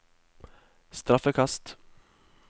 straffekast